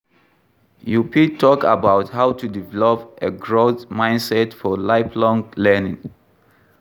You fit talk about how to develop a growth mindset for lifelong learning.